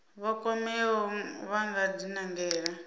vha kwameaho vha nga dinangela